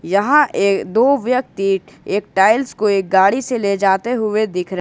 यहां एक दो व्यक्ति एक टाइल्स को एक गाड़ी से ले जाते हुए दिख रहे--